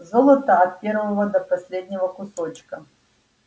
золото от первого до последнего кусочка